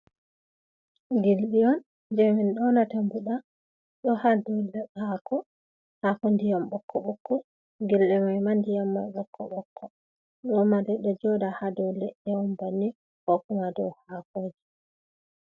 Gildiyon je min donata mbuda do hado leako hako diyam bokko bokko, gildi mai diyam ma bokko bokko ɗoma dedo joda hado ledde om banni kokuma dow hakoje.